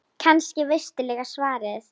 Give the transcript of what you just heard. Kannski veistu líka svarið.